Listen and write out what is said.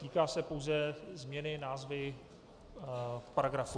Týká se pouze změny názvu paragrafu.